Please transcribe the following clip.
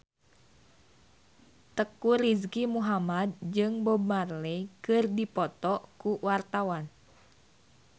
Teuku Rizky Muhammad jeung Bob Marley keur dipoto ku wartawan